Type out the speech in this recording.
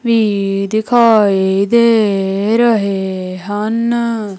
ਵੀ ਦਿਖਾਈ ਦੇ ਰਹੇ ਹਨ।